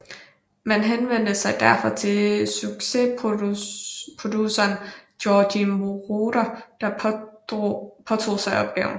Man henvendte sig derfor til succesproduceren Giorgio Moroder der påtog sig opgaven